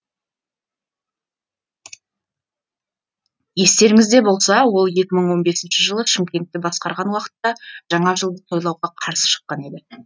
естеріңізде болса ол екі мың он бесінші жылы шымкентті басқарған уақытта жаңа жылды тойлауға қарсы шыққан еді